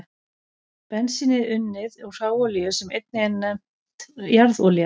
Bensín er unnið úr hráolíu sem einnig er nefnd jarðolía.